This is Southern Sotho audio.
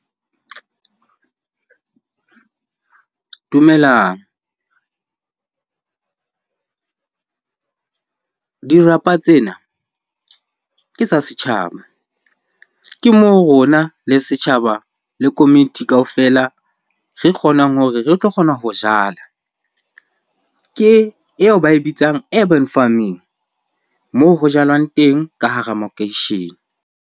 Dumelang. Dirapa tsena ke tsa setjhaba. Ke moo rona le setjhaba le komiti kaofela re kgonang hore re tlo kgona ho jala. Ke eo ba e bitsang farming moo ho jalwang teng ka hara makeishene.